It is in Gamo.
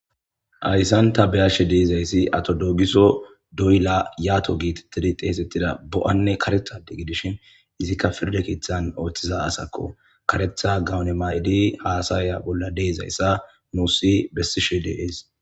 Hayisan ta beashe damizasi ato dogiso doyila yato getetidi xesetida doane kareta adde gidishin ezika firda keeththan otiza asakko kareta goane mayidi hasaya bola deizayisa nusi beseshe deas.